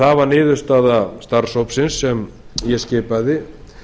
það var niðurstaða starfshópsins sem ég skipaði